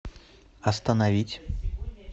остановить